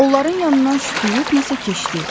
Onların yanından şütüyyüb nəsə keçdi.